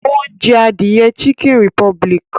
Ó ń jẹ adìẹ chicken republic